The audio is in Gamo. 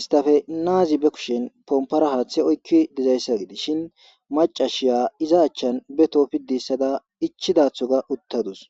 istafe naazi be kushin pompara haaththe oykki dizayssa gidishin macashiya iza achchan beto piddi hissatada ichidathoga uttadus